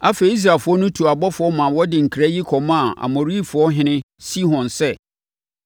Afei, Israelfoɔ tuu abɔfoɔ ma wɔde nkra yi kɔmaa Amorifoɔhene Sihon sɛ: